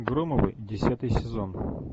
громовы десятый сезон